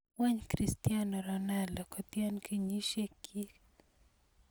Wany cristiano Ronaldo kotian kenyisiek kyik